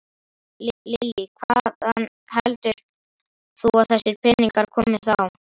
Lillý: Hvaðan heldur þú að þessir peningar komi þá?